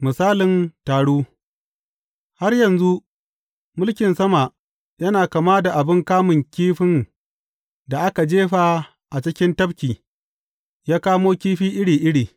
Misalin taru Har yanzu, mulkin sama yana kama da abin kamun kifin da aka jefa cikin tafki yă kamo kifi iri iri.